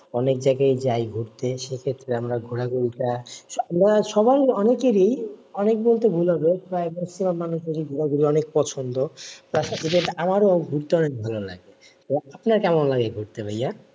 অনেক জায়গায়ই যায় ঘুরতে সেক্ষেত্রে আমরা ঘোরাঘুরি টা আমরা সবাই অনেকেরই অনেক বলতে ভুল হবে প্রায় maximum মানুষেরই ঘুরা ঘুরি অনেক পছন্দ তার সাথে সাথে আমারও ঘুরতে অনেক ভালো লাগে আপনার কেমন লাগে ঘুরতে ভাইয়া?